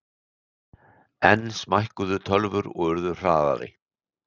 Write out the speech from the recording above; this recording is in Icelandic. Enn smækkuðu tölvur og urðu hraðari.